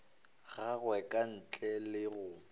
gagwe ka ntle le go